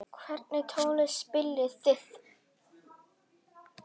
Hvernig tónlist spilið þið?